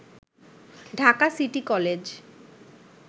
Dhaka city college